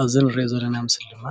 ኣብዚ እንሪኦ ዘለና ምስሊ ድማ